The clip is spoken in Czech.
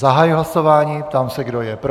Zahajuji hlasování, ptám se, kdo je pro.